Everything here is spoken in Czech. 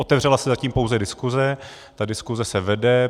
Otevřela se zatím pouze diskuse, ta diskuse se vede.